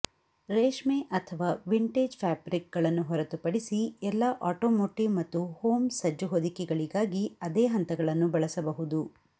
ರೇಷ್ಮೆ ಅಥವಾ ವಿಂಟೇಜ್ ಫ್ಯಾಬ್ರಿಕ್ಗಳನ್ನು ಹೊರತುಪಡಿಸಿ ಎಲ್ಲಾ ಆಟೋಮೋಟಿವ್ ಮತ್ತು ಹೋಮ್ ಸಜ್ಜು ಹೊದಿಕೆಗಳಿಗಾಗಿ ಅದೇ ಹಂತಗಳನ್ನು ಬಳಸಬಹುದು